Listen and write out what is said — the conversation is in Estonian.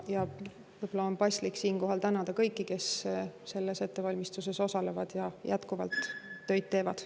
Võib-olla on paslik siinkohal tänada kõiki, kes selles ettevalmistuses osalevad ja jätkuvalt tööd teevad.